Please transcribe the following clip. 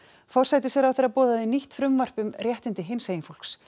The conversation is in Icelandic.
forsætistráðherra boðaði nýtt frumvarp um réttindi hinsegin fólks